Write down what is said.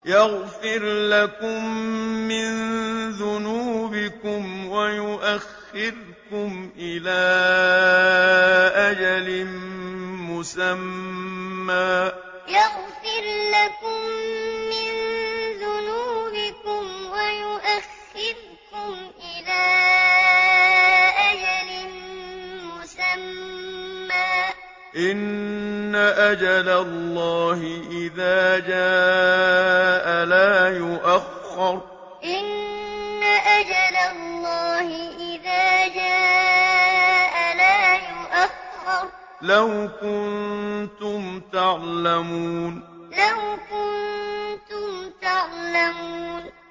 يَغْفِرْ لَكُم مِّن ذُنُوبِكُمْ وَيُؤَخِّرْكُمْ إِلَىٰ أَجَلٍ مُّسَمًّى ۚ إِنَّ أَجَلَ اللَّهِ إِذَا جَاءَ لَا يُؤَخَّرُ ۖ لَوْ كُنتُمْ تَعْلَمُونَ يَغْفِرْ لَكُم مِّن ذُنُوبِكُمْ وَيُؤَخِّرْكُمْ إِلَىٰ أَجَلٍ مُّسَمًّى ۚ إِنَّ أَجَلَ اللَّهِ إِذَا جَاءَ لَا يُؤَخَّرُ ۖ لَوْ كُنتُمْ تَعْلَمُونَ